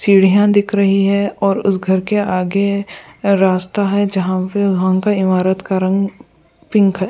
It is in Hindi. सीढ़ियां दिख रही है और उस घर के आगे रास्ता है जहां पे का इमारत का रंग पिंक है।